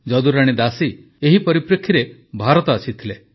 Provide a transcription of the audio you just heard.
ଯଦୁରାଣୀ ଦାସୀ ଏହି ପରିପ୍ରେକ୍ଷୀରେ ଭାରତ ଆସିଥିଲେ